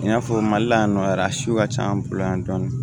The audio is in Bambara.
I n'a fɔ mali la yan nɔ a siw ka ca an bolo yan dɔɔni